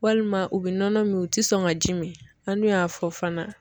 Walima o be nɔnɔ min o te sɔn ka ji min an dun y'a fɔ fana